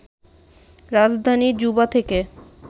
রাজধানী জুবা থেকে